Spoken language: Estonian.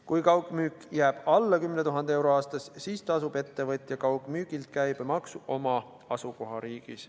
Kui kaugmüük jääb alla 10 000 euro aastas, siis tasub ettevõtja kaugmüügilt käibemaksu oma asukohariigis.